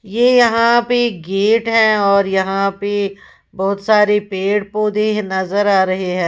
ये यहां पे गेट है और यहां पे बहोत सारे पेड़ पौधे नजर आ रहे हैं।